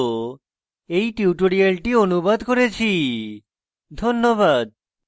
আমি কৌশিক দত্ত এই টিউটোরিয়ালটি অনুবাদ করেছি ধন্যবাদ